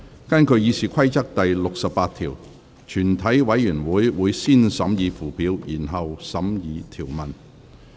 根據《議事規則》第68條，全體委員會會先審議附表，然後審議條文。